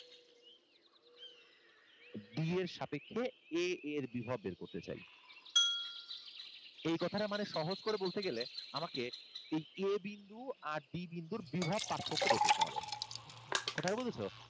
D এর সাপেক্ষে a এর বিভব বের করতে চাই। এই কথাটার মানে সহজ করে বলতে গেলে আমাকে এই a বিন্দু আর d বিন্দুর বিভব পার্থক্য বের করতে হবে। কোথায় বুঝেছ?